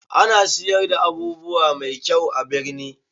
A ana siyar da abubuwa mai kyau a birni